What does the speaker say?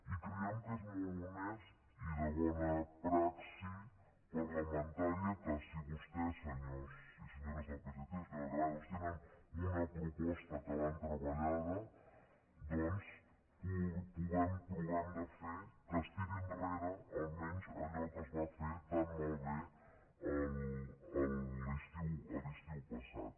i creiem que és molt honest i de bona praxi parlamentària que si vostès senyors i senyores del psc senyora granados tenen una proposta que l’han treballada doncs provem de fer que es tiri enrere almenys allò que es va fer tan malbé l’estiu passat